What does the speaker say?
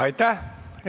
Aitäh!